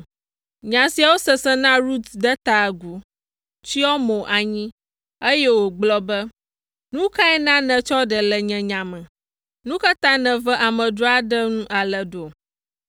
Nya siawo sese na Rut de ta agu, tsyɔ mo anyi, eye wògblɔ be, “Nu kae na nètsɔ ɖe le nye nya me? Nu ka ta nève amedzro aɖe nu ale ɖo?”